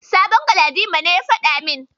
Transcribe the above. Sabon Galadima ne ya faɗa min.